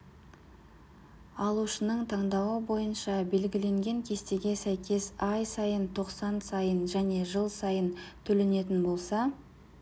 алушының таңдауы бойынша белгіленген кестеге сәйкес ай сайын тоқсан сайын және жыл сайын төленетін болса